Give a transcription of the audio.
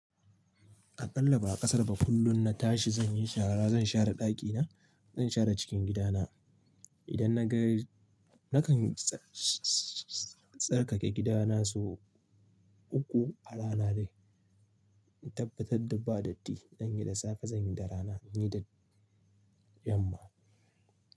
A ƙalla ba'a ƙasara ba kullum na tashi zan yi shara, zan share ɗakina, zan share cikin gidana. Idan na ga, nakan tsarkake gidana sau uku a rana dai. In tabbatar da ba datti, zan yi da safe, zan yi da rana, yi da yamma.